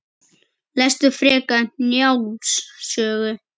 Lestu frekar Njáls sögu